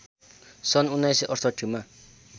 सन् १९६८ मा